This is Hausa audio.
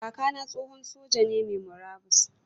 Kaka na tsohon soja ne mai murabus.